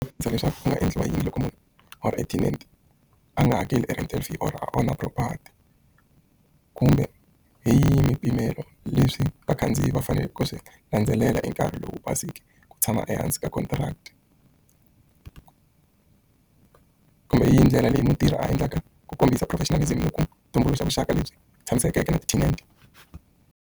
Ndzi nga vutisa leswaku ku nga endliwa yini loko munhu or a tenant a nga hakeli rent kumbe hi yini swipimelo leswi vakhandziyi va faneleke ku swi landzelela hi nkarhi lowu ku tshama ehansi ka contract kumbe hi yini ndlela leyi mutirhi a endlaka ku kombisa professionalism ku tumbuluxa vuxaka lebyi tshamisekeke na ti-tenant.